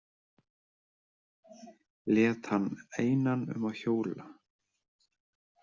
Lét hann einan um að hjóla.